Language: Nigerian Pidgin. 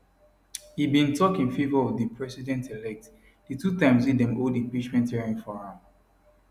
e bin tok in favour of di presidentelect di two times wey dem hold impeachment hearing for am